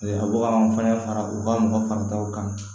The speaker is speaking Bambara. a bɛ ka anw fana fara u ka mɔgɔ fara taw kan